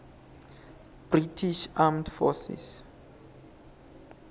british armed forces